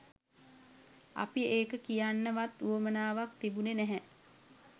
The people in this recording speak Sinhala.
අපි එක කියන්න වත් වුවමනාවක් තිබුනේ නැහැ.